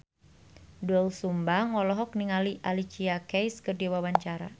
Doel Sumbang olohok ningali Alicia Keys keur diwawancara